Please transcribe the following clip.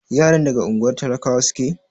Yaran daga unguwar talakawa suke?